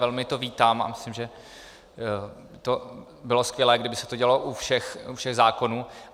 Velmi to vítám a myslím, že by bylo skvělé, kdyby se to dělalo u všech zákonů.